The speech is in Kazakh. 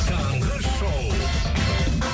таңғы шоу